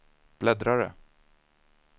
bläddrare